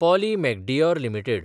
Polly Medicure limited